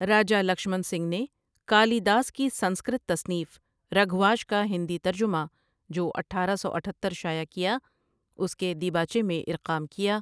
راجا لکشمن سنگھ نے کالی داس کی سنسکرت تصنیف رگھواش کا ہندی ترجمہ جو اٹھارہ سو اتھتر شائع کیا اس کے دپباچے میں اِرقام کیا ۔